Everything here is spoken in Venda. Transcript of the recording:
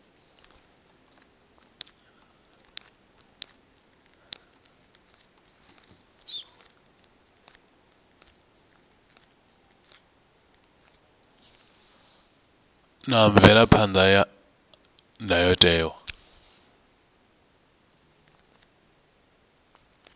na mvelaphan ḓa ya ndayotewa